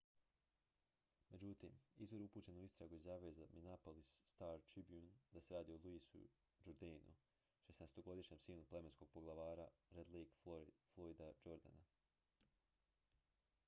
međutim izvor upućen u istragu izjavio je za minneapolis star-tribune da se radi o louisu jourdainu 16-godišnjem sinu plemenskog poglavara red lakea floyda jourdaina